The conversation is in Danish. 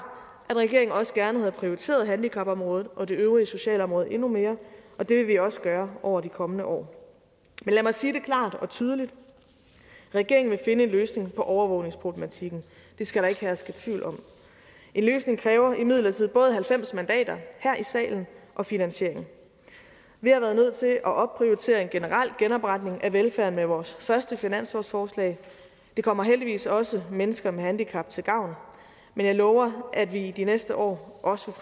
at regeringen også gerne havde prioriteret handicapområdet og det øvrige socialområde endnu mere og det vil vi også gøre over de kommende år men lad mig sige det klart og tydeligt regeringen vil finde en løsning på overvågningsproblematikken det skal der ikke herske tvivl om en løsning kræver imidlertid både halvfems mandater her i salen og finansiering vi har været nødt til at opprioritere en generel genopretning af velfærden med vores første finanslovsforslag det kommer heldigvis også mennesker med handicap til gavn men jeg lover at vi i de næste år også